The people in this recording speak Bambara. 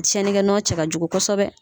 Cɛnni kɛ nɔn cɛ kajugu kosɛbɛ.